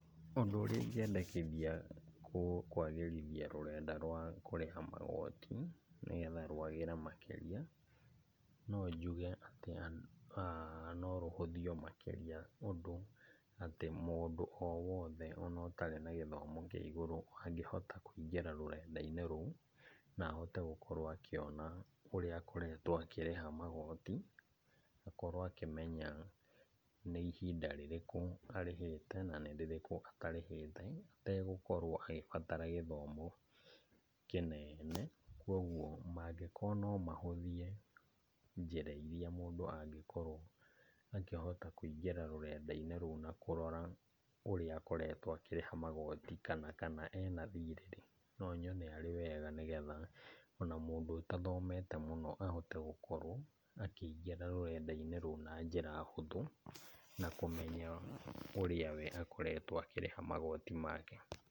Ũndũ ũrĩa ingĩendekithia kwagĩrithia rũrenda rwa kũrĩha magoti nĩgetha rwagĩre makĩria, no njuge atĩ norũhũthio makĩria ũndũ atĩ mũndũ o wothe ona ũtarĩ na gĩthomo kĩa igũrũ angĩhota kũingĩra rũrenda-inĩ rũu, na ahote gũkorwo akĩona ũrĩa akoretwo akĩrĩha magoti. Akorwo akĩmenya nĩ ihinda rĩrĩkũ arĩhĩte, na nĩ rĩrĩkũ atarĩhĩte, ategũkorwo agĩbatara gĩthomo kĩnene. Koguo mangĩkorwo no mahũthie njĩra iria mũndũ angĩkorwo akĩhota kũingĩra rũrenda-inĩ rũu na kũrora ũrĩa akoretwo akĩrĩha magoti, kana kana e na thĩrĩ-rĩ. No nyone arĩ wega, nĩgetha ona mũndũ ũtathomete mũno ahote gũkorwo akĩingĩra rũrenda-inĩ rũu na njĩra hũthũ, na kũmenya ũrĩa we akoretwo akĩrĩha magoti make.